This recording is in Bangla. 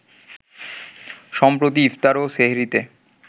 সম্প্রতি ইফতার ও সেহরিতে